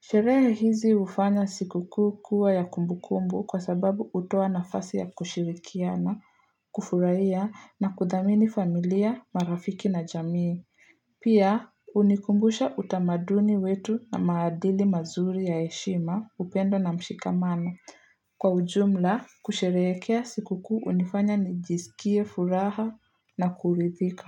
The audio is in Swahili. Sherehe hizi hufanya sikukuu kuwa ya kumbukumbu kwa sababu hutoa nafasi ya kushirikiana, kufurahia na kuthamini familia, marafiki na jamii. Pia, hunikumbusha utamaduni wetu na maadili mazuri ya heshima upendo na mshikamano. Kwa ujumla, kusherehekea sikukuu unifanya nijisikie furaha na kuridhika.